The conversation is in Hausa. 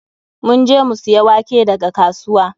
Mun je mu siya wake daga kasuwa.